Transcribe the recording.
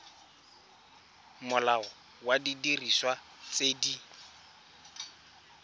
molao wa didiriswa tse di